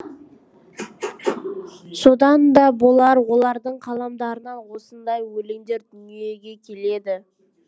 содан да болар олардың қаламдарынан осындай өлеңдер дүниеге келеді